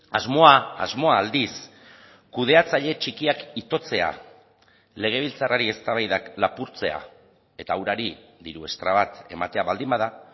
asmoa asmoa aldiz kudeatzaile txikiak itotzea legebiltzarrari eztabaidak lapurtzea eta urari diru estra bat ematea baldin bada